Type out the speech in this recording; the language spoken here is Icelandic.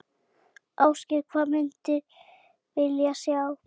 Ásgeir: Hvað myndir vilja sjá?